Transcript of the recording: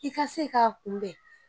I ka se k'a kunbɛn